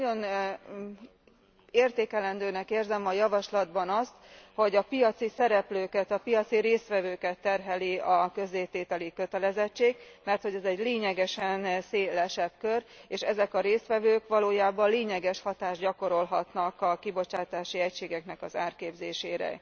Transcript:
Én nagyon értékelendőnek érzem a javaslatban azt, hogy a piaci szereplőket, a piaci résztvevőket terheli a közzétételi kötelezettség, merthogy ez egy lényegesen szélesebb kör, és ezek a résztvevők valójában lényeges hatást gyakorolhatnak a kibocsátási egységek árképzésére.